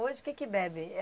Hoje o que que bebe?